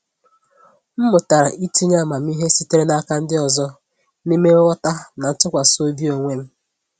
M mụtara itinye amamihe sitere n’aka ndị ọzọ n’ime nghọta na ntụkwasị obi onwe m.